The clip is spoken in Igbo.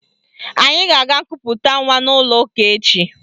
Anyị ga-aga nkuputa nwa n'ụlọụka echi